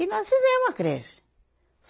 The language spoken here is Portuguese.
E nós fizemos a creche.